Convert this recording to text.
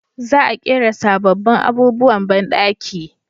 Za a ƙera sabobbin abubuwan banɗaki